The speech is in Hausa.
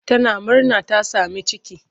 Tana murna ta sami ciki.